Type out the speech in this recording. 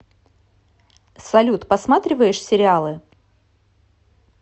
салют посматриваешь сериалы